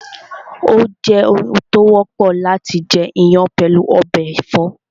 Ó jẹ́ oun tó wọ́pọ̀ láti jẹ iyán pẹ̀lú ọbẹ̀ ẹ̀fọ́